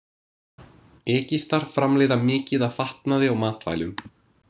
Egyptar framleiða mikið af fatnaði og matvælum.